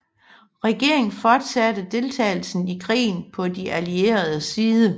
Regeringen fortsatte deltagelsen i krigen på de allieredes side